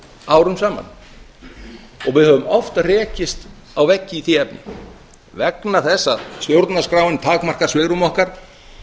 árum saman og við höfum oft rekist á veggi í því efni vegna þess að stjórnarskráin takmarkar svigrúm okkar